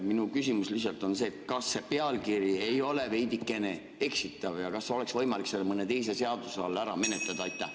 Minu küsimus on see: kas see pealkiri ei ole veidikene eksitav ja kas oleks võimalik seda mõne teise seaduse all ära menetleda?